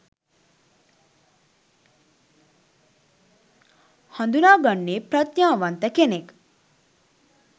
හඳුනාගන්නේ ප්‍රඥාවන්ත කෙනෙක්